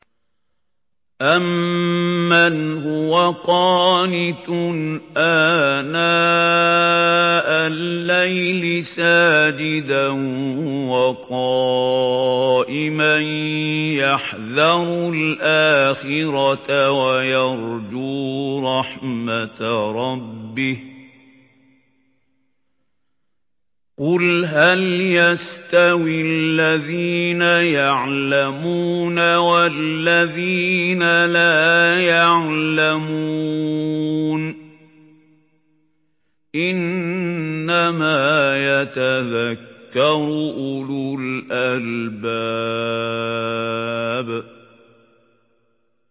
أَمَّنْ هُوَ قَانِتٌ آنَاءَ اللَّيْلِ سَاجِدًا وَقَائِمًا يَحْذَرُ الْآخِرَةَ وَيَرْجُو رَحْمَةَ رَبِّهِ ۗ قُلْ هَلْ يَسْتَوِي الَّذِينَ يَعْلَمُونَ وَالَّذِينَ لَا يَعْلَمُونَ ۗ إِنَّمَا يَتَذَكَّرُ أُولُو الْأَلْبَابِ